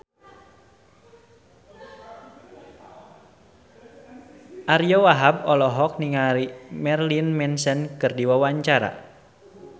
Ariyo Wahab olohok ningali Marilyn Manson keur diwawancara